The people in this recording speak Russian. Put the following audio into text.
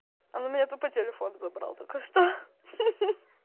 он у меня тупо телефон забрал только что